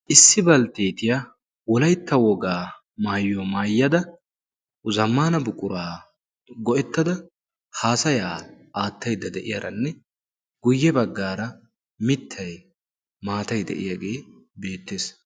Issi baltteetiyaa olaitta wogaa maayiuya maayyada zammana buquraa go"ettada haasayaa aattaidda de'iyaaranne guyye baggaara mittay maatayde'iyaagee beettees.